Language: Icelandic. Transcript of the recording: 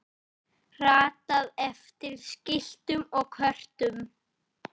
ratað eftir skiltum og kortum